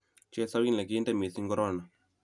chesawil ne kinte mising korona!